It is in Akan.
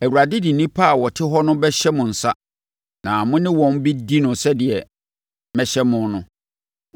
Awurade de nnipa a wɔte hɔ no bɛhyɛ mo nsa na mo ne wɔn bɛdi no sɛdeɛ mɛhyɛ mo no.